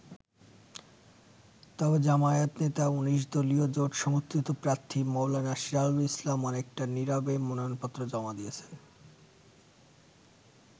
তবে জামায়াত নেতা ১৯ দলীয় জোট সমর্থিত প্রার্থী মাওলানা সিরাজুল ইসলাম অনেকটা নিরবে মনোনয়নপত্র জমা দিয়েছেন।